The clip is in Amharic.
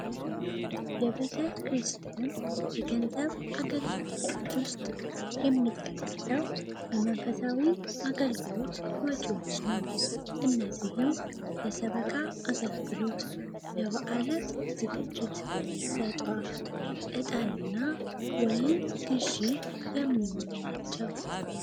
የቤተ ክርስቲያን የገንዘብ አገልግሎቶች ውስጥ የሚጠቀሰው የመንፈሳዊ አገልግሎት ነው። እነዚህም ለሰበካ አገልግሎት በዓላት ዝግጅት ዕጣና ወይን ግዢ የሚውሉ ናቸው።